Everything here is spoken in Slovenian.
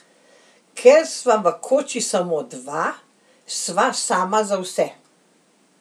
Ker sva v koči samo dva, sva sama za vse.